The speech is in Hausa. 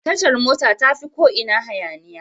Tashar mota tafi ko ina hayaniya.